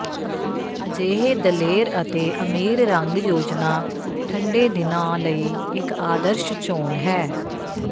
ਅਜਿਹੇ ਦਲੇਰ ਅਤੇ ਅਮੀਰ ਰੰਗ ਯੋਜਨਾ ਠੰਡੇ ਦਿਨਾਂ ਲਈ ਇੱਕ ਆਦਰਸ਼ ਚੋਣ ਹੈ